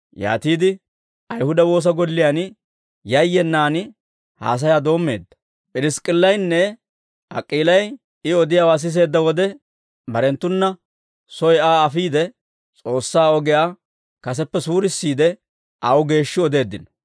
Yaatiide Ayihuda woosa golliyaan yayyenaan haasayaa doommeedda. P'irisk'k'illaynne Ak'iilay I odiyaawaa siseedda wode, barenttuna soy Aa afiide, S'oossaa ogiyaa kaseppe suurissiide, aw geeshshi odeeddino.